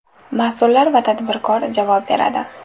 Mas’ullar va tadbirkor javob beradi.